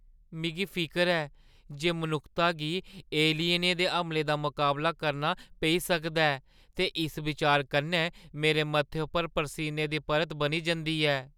मिगी फिकर ऐ जे मनुक्खता गी एलियनें दे हमले दा मकाबला करना पेई सकदा ऐ ते इस बिचार कन्नै मेरे मत्थे उप्पर परसीने दी परत बनी जंदी ऐ।